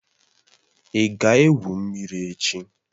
Ị ga-egwu mmiri echi?